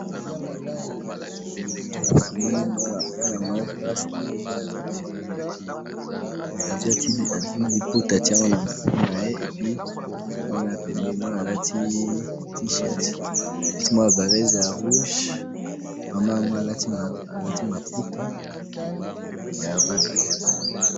namoni mwana mwasi moko boye aza mwana naye mais azwi liputa atiye na moutou naye mwana aza pembeni naye mwana ya yango alati vareze y rouge mama wana alati mapouta ya rouge pe